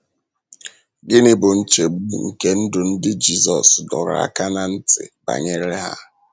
Gịnị bụ nchegbu nke ndụ ndị Jizọs dọrọ aka ná ntị banyere ha?